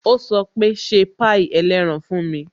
Ó sọ pé "ṣe pie ẹlẹ́ran fún mi"